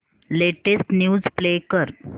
latest news play कर